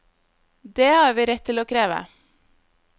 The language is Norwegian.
Dét har vi rett til å kreve.